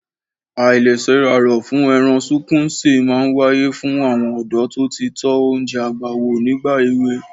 Àìlesẹ́raró-fún-ẹran-sunkúnsí máa ń wáyé fún àwọn ọ̀dọ́ tó ti tọ oúnjẹ àgbà wò nígbà èwe.